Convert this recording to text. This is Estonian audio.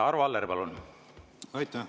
Arvo Aller, palun!